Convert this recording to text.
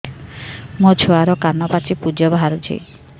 ମୋ ଛୁଆର କାନ ପାଚି ପୁଜ ବାହାରୁଛି